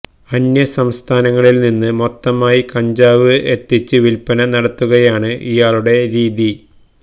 അന്യസംസ്ഥാനങ്ങളിൽ നിന്ന് മൊത്തമായി കഞ്ചാവ് എത്തിച്ച് വിൽപ്പന നടത്തുകയാണ് ഇയാളുടെ രീതി